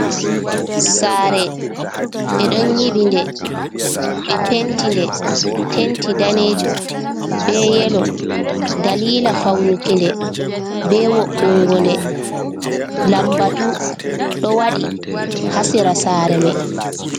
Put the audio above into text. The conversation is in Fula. Sare ɓeɗo nyiɓidi nde, ɓe penti nde, penti danejum be yelo dalila faunugo nde be wo'ungo nde. Lambatu ɗo waɗi ha sera sare mai.